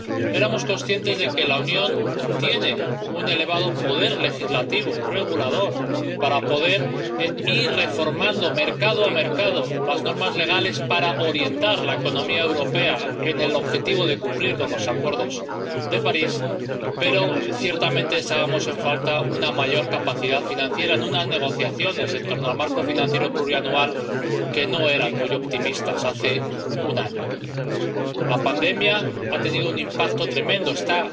Éramos conscientes de que la Unión tiene un elevado poder legislativo, regulador, para poder ir reformando, mercado a mercado, las normas legales para orientar la economía europea hacia el objetivo de cumplir con los Acuerdos de París, pero, ciertamente, echábamos en falta una mayor capacidad financiera en unas negociaciones en torno al marco financiero plurianual que no eran muy optimistas hace un año. La pandemia ha tenido un impacto tremendo, está